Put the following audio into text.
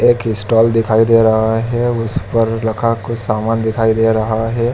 एक स्टाल दिखाई दे रहा है उस पर रखा कुछ सामान दिखाई दे रहा है।